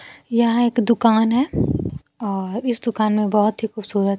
यहां एक दुकान है और इस दुकान में बहोत ही खूबसूरत--